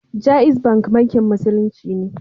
Jaiz Bank Bankin Musulunci ne